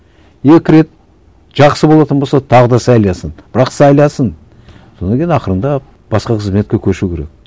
екі рет жақсы болатын болса тағы да сайласын бірақ сайласын содан кейін ақырындап басқа қызметке көшу керек